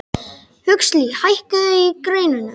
Huxley, hækkaðu í græjunum.